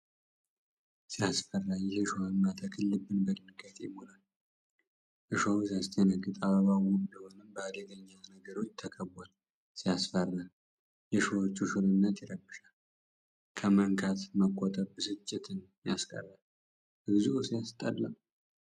ሲያስፈራ! ይህ እሾሃማ ተክል ልብን በድንጋጤ ይሞላል። እሾሁ ሲያስደነግጥ! አበባው ውብ ቢሆንም በአደገኛ ነገሮች ተከቧል። ሲያስፈራ! የሾሆቹ ሹልነት ይረብሻል፤ ከመንካት መቆጠብ ብስጭትን ያስቀርል! እግዚኦ! ሲያስጠላ!